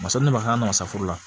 Masaden de b'a k'an na safuru la